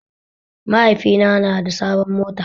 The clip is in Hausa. Mahaifina na da sabon mota